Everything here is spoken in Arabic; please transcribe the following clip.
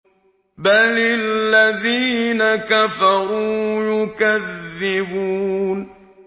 بَلِ الَّذِينَ كَفَرُوا يُكَذِّبُونَ